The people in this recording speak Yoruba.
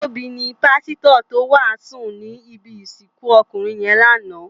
Tobi ni pàsitò tó wásùn ni ibi isikun ókúnrin yèn láná